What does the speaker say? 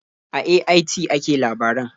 A AIT ake labaran.